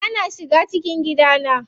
Na shiga cikin gidana.